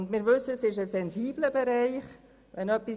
Wir wissen auch, dass es sich um einen sensiblen Bereich handelt.